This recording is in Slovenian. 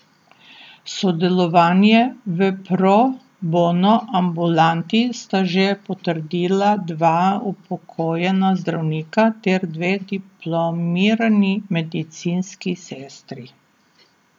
Sodelovanje v pro bono ambulanti sta že potrdila dva upokojena zdravnika ter dve diplomirani medicinski sestri.